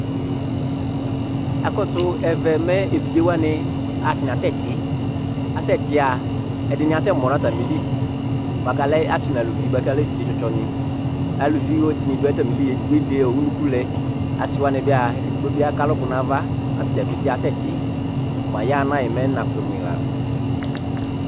Evidze waŋi ataŋi asɛti Ɛɖìní asɛmɔ ŋu atamìli bʋakʋ alɛ ɔsi ŋu ʋlʋvi bʋakʋ alɛ evidze tsɔ tsɔ ŋi Alʋvi ɖìŋí ɖu atamìli ɛɖìní eɖe ʋnʋku lɛ Asiwaŋi bi'a ɛɖigbo bi aka alʋku ŋu ava kʋ atadza pete asɛti mʋ ayahana'e ? Mɛ niŋa kʋtu mʋi la